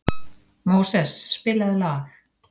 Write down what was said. Móses, spilaðu lag.